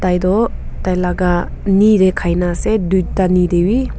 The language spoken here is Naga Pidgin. yate toh tailaka knee te khaikena ase tuita knee tebi.